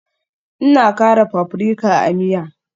Ina kara paprika a miya